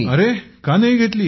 अरे का नाही घेतली